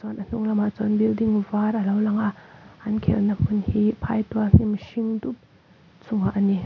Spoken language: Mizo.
chuan a hnunglamah chuan building var alo lang a an khelh na hmun hi phai tual hnim hring dup chung ah ani.